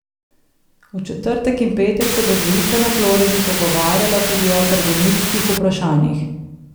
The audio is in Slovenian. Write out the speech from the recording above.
V četrtek in petek se bo dvojica na Floridi pogovarjala tudi o trgovinskih vprašanjih.